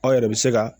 Aw yɛrɛ bɛ se ka